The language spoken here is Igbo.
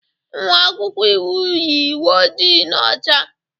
Nwa akwụkwọ iwu yi uwe ojii na ọcha